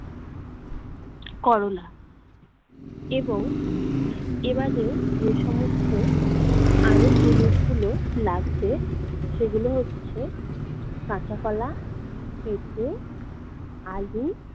করলা এবং এ বাদেও যে সমস্ত আরও জিনিসগুলো লাগবে, সেগুলো হচ্ছে- কাঁচা কলা, পেপে, আলু